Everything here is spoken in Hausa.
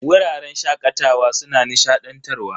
Wuraren shakatawa suna nishadantarwa.